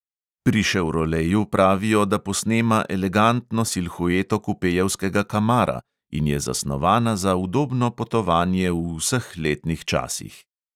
Pri ševroleju pravijo, da posnema elegantno silhueto kupejevskega kamara in je zasnovana za udobno potovanje v vseh letnih časih.